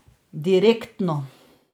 Direktno!